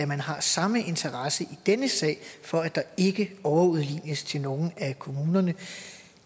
man har samme interesse i denne sag for at der ikke overudlignes til nogen af kommunerne